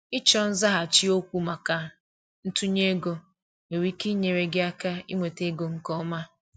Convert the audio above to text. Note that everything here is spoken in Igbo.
ịchọ nzaghachi okwu maka ntunye ego nwere ike inyere gị aka inweta ego nke ọma.